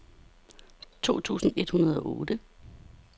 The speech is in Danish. to tusind et hundrede og otte